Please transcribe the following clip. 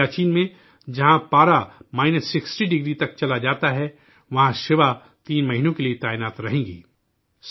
سیاچن میں جہاں درجہ حرارت مائنس ساٹھ 60 ڈگری تک چلا جاتا ہے، وہاں شیوا تین مہینوں کے لیے تعینات رہیں گی